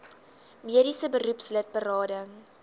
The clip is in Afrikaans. mediese beroepslid berading